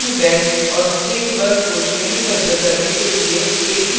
string best और string bus को श्रेणीबद्ध करने के लिए एक c program लिखें